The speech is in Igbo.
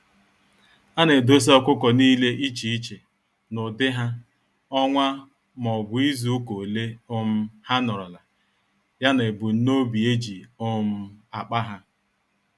Ana edosa ọkụkọ nile iche iche; n'ụdị ha, ọnwa m'obu izuka ole um ha nọrọla, ya na ebum nobi eji um akpa há.